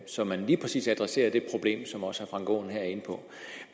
så man lige præcis adresserer det problem som også herre frank aaen her er inde på